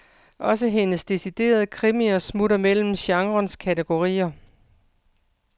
Også hendes deciderede krimier smutter mellem genrens kategorier.